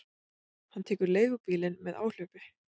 Hann tekur leigubílinn með áhlaupi.